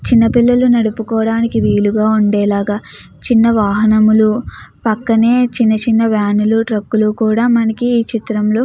చిన్నపిల్లలు నడపడానికి వీలుగా ఉండేలాగా చిన్న వాహనాలు పక్కనే చిన్న చిన్న ట్రక్కులు కూడా ఈ చిత్రంలో --